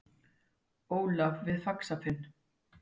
Ólaf við Faxafen.